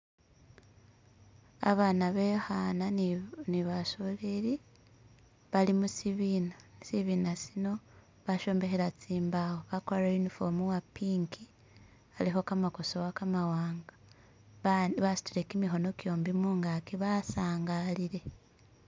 Abana bekhana ni basoleli bali mushibina, shibina shino bashombakhila tsimbawo bagwarile uniform wa pink alikho kamagosowa gamawanga basudile gimikhono gyombi mungagi basangalile.